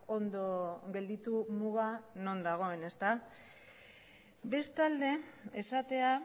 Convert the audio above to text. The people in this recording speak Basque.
ondo gelditu muga non dagoen bestalde esatea